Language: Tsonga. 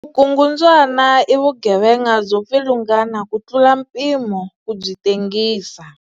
Vukungundzwana i vugevenga byo pfilungana ku tlula mpimo ku byi tengisa.